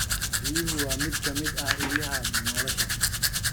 Biyuhu waa mid ka mid ah ilaha nolosha.